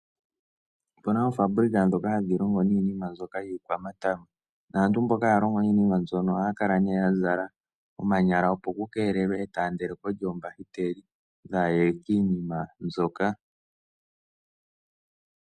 Opu na oofaabulika ndhoka hadhi longo niinima mbyoka iikwamatama. Naantu mboka haya longo niinima mbyoka ohaya kala nee ya zala omanyala, opo ku keelelwe e taandelo ko lyoombakiteli dhaa ye kiinima mbyoka.